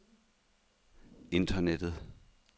internettet